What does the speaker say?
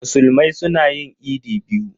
Musulmai suna yin idi biyu.